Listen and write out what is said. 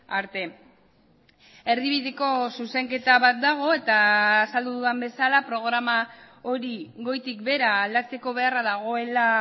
arte erdibideko zuzenketa bat dago eta azaldu dudan bezala programa hori goitik behera aldatzeko beharra dagoela